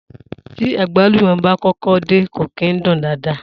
Tí àgbálùmó bá kọ́kọ́ dé, kò kìí dún daadaa.